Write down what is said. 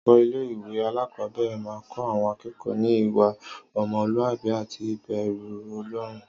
Àwon olùkó ilé ìwé alákòóbèrè máa n kó àwon akékòó ní îwà omolúàbí àti ìbèrú Olórun